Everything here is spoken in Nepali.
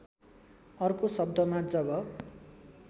अर्को शब्दमा जब